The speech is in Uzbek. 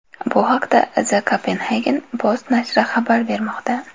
Bu haqda The Copenhagen Post nashri xabar bermoqda .